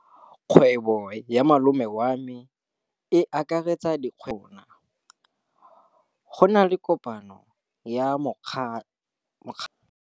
Kgwêbô ya malome wa me e akaretsa dikgwêbôpotlana tsa rona. Go na le kopanô ya mokgatlhô wa ditlhopha tsa boradipolotiki.